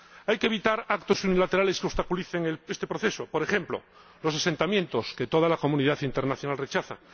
Hay que evitar actos unilaterales que obstaculicen este proceso, por ejemplo, los asentamientos que toda la comunidad internacional rechaza—.